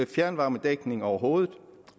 fjernvarmedækning overhovedet